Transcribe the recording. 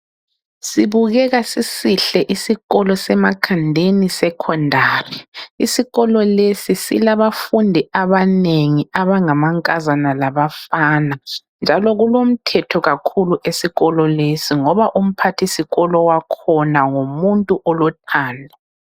Sibukeka sisihle isikolo seMakhandeni Secondary. Isikolo lesi silabafundi abanengi abangamankazana labafana. Njalo kulomthetho kakhulu esikolo lesi ngoba umphathisikolo wakhona ngumuntu olothando.